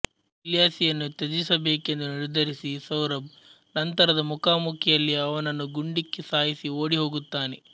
ಇಲ್ಯಾಸಿಯನ್ನು ತ್ಯಜಿಸಬೇಕೆಂದು ನಿರ್ಧರಿಸಿ ಸೌರಭ್ ನಂತರದ ಮುಖಾಮುಖಿಯಲ್ಲಿ ಅವನನ್ನು ಗುಂಡಿಕ್ಕಿ ಸಾಯಿಸಿ ಓಡಿಹೋಗುತ್ತಾನೆ